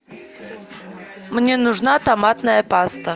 мне нужна томатная паста